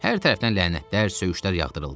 Hər tərəfdən lənətlər, söyüşlər yağdırıldı.